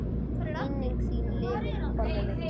Minning þín lifir, Konni minn.